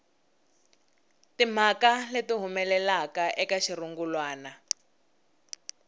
timhaka leti humelelaka eka xirungulwana